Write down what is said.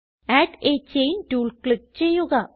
add a chain tool click ചെയ്യുക